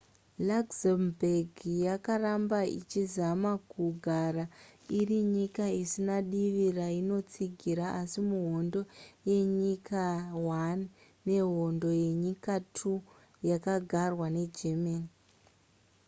luxembourg yakaramba ichizama kugara iri nyika isina divi rainotsigira asi muhondo yenyika i nehondo yenyika ii yakagarwa negermany